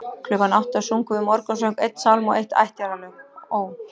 Klukkan átta sungum við morgunsöng, einn sálm og eitt ættjarðarlag: Ó